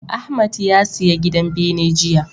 Ahmad ya siya gidan bene jiya.